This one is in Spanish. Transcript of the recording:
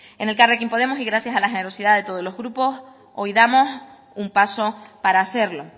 en elkarrekin podemos y gracias a la generosidad de todos los grupos hoy damos un paso para hacerlo